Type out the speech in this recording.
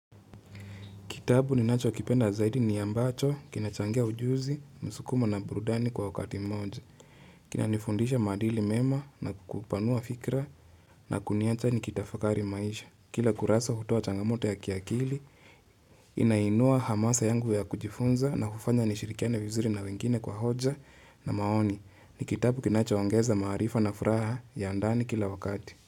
Kitabu ninachokipenda zaidi ni ambacho, kinachangia ujuzi, msukumo na burudani kwa wakati moja. Kinanifundisha madili mema na kupanua fikra na kuniacha nikitafakari maisha. Kila kurasa hutua changamoto ya kiakili, inainua hamasa yangu ya kujifunza na kufanya nishirikiane vizuri na wengine kwa hoja na maoni. Ni kitabu kinachoangeza marifa na furaha ya ndani kila wakati.